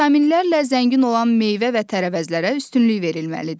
Vitaminlərlə zəngin olan meyvə və tərəvəzlərə üstünlük verilməlidir.